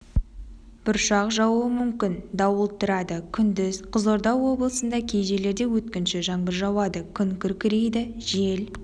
бұршақ жаууы мүмкін дауыл тұрады күндіз қызылорда облысындакей жерлерде өткінші жаңбыр жауады күн күркірейді жел